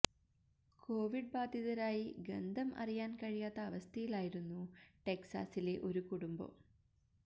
Covid ബാധിതരായി ഗന്ധം അറിയാൻ കഴിയാത്ത അവസ്ഥയിലായിരുന്നു ടെക്സാസിലെ ഒരു കുടുംബം